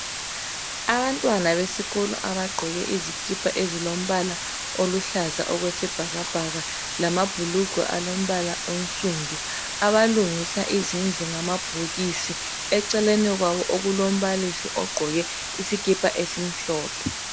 Abantwana besikolo abagqoke izikipa ezilombala oluhlaza okwesibhakabhaka. Lamabhulugwe alombala onsundu. Abalungisa izindlu ngamabhokisi. Eceleni kwabo okulombalisi, ogqoke isikipa esimhlophe.